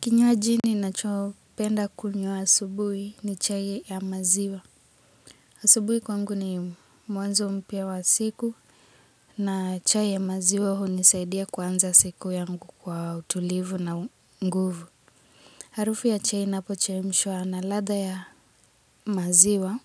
Kinywaji ninacho penda kunywa asubuhi ni chai ya maziwa. Asubuhi kwangu ni mwanzo mpya wa siku na chai ya maziwa hunisaidia kuanza siku yangu kwa utulivu na nguvu. Harufu ya chai inapochemshwa na latha ya maziwa